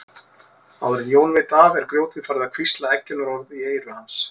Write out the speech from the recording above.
Áður en Jón veit af er grjótið farið að hvísla eggjunarorð í eyru hans.